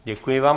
Děkuji vám.